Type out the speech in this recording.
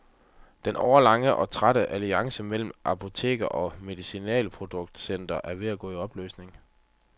Den årelange og tætte alliance mellem apoteker og medicinalproducenter er ved at gå i opløsning.